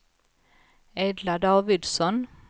Edla Davidsson